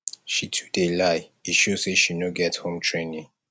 she too dey lie e show sey she no get home training